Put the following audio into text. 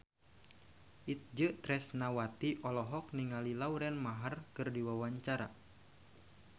Itje Tresnawati olohok ningali Lauren Maher keur diwawancara